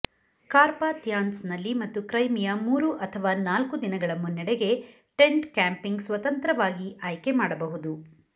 ಕಾರ್ಪಾಥಿಯಾನ್ಸ್ನಲ್ಲಿ ಮತ್ತು ಕ್ರೈಮಿಯ ಮೂರು ಅಥವಾ ನಾಲ್ಕು ದಿನಗಳ ಮುನ್ನಡೆಗೆ ಟೆಂಟ್ ಕ್ಯಾಂಪಿಂಗ್ ಸ್ವತಂತ್ರವಾಗಿ ಆಯ್ಕೆ ಮಾಡಬಹುದು